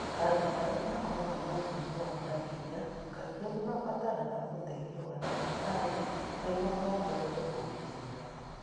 Andũ arĩa makoragwo na mũrimũ wa malaria kaingĩ nĩ mabataraga ũteithio wa ndagĩtarĩ nĩguo mongerere ugitĩri wao.